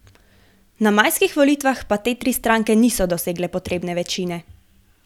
Na majskih volitvah pa te tri stranke niso dosegle potrebne večine.